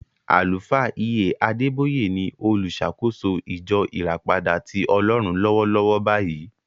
Àlùfáà E.A Adeboye ni oluṣàkóso ìjọ ìràpadà tí Ọlọ́run lọ́wọ́lọ́wọ́ báyìí.